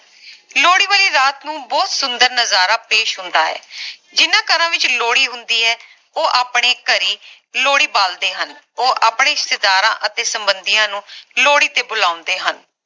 ਲੋਹੜੀ ਵਾਲੀ ਰਾਤ ਨੂੰ ਬਹੁਤ ਸੁੰਦਰ ਨਜਾਰਾ ਪੇਸ਼ ਹੁੰਦਾ ਹੈ ਜਿੰਨਾ ਘਰਾਂ ਵਿਚ ਲੋਹੜੀ ਹੁੰਦੀ ਹੈ ਉਹ ਆਪਣੇ ਘਰੇ ਲੋਹੜੀ ਬਾਲਦੇ ਹਨ ਉਹ ਆਪਣੇ ਰਿਸ਼ਤੇਦਾਰਾਂ ਅਤੇ ਸੰਬੰਧੀਆਂ ਨੂੰ ਲੋਹੜੀ ਤੇ ਬੁਲਾਉਂਦੇ ਹਨ